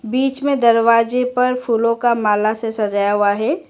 बीच में दरवाजे पर फूलों का माल से सजाया हुआ है।